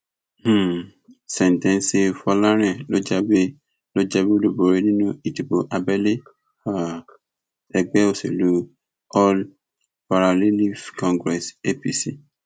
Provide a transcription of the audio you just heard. um sèǹtẹsíl fọlárin ló jáwé ló jáwé olúborí nínú ìdìbò abẹlé um ègbé òsèlú all parallelives congress apc